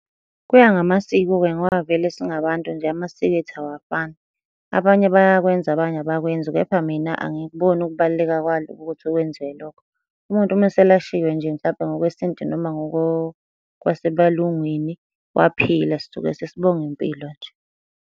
Kuya ngamasiko-ke ngoba vele singabantu nje, amasiko ethu awafani. Abanye bayakwenza, abanye abakwenzi, Kepha mina angikuboni ukubaluleka kwalo ukuthi kwenziwe lokho. Umuntu uma eselashiwe nje mhlampe ngokwesintu noma ngoko kwasebelungwini, waphila sisuke sesibonga impilo nje.